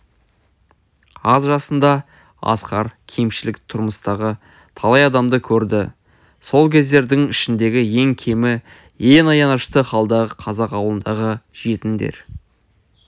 аз жасында асқар кемшілік тұрмыстағы талай адамды көрді сол кемдердің ішіндегі ең кемі ең аянышты халдағы қазақ ауылындағы жетімдер